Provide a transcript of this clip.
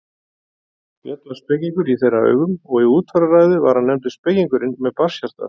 Björn var spekingur í þeirra augum og í útfararræðu var hann nefndur spekingurinn með barnshjartað.